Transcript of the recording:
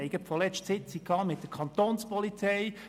Vor kurzem hatten wir eine Sitzung mit der Kantonspolizei.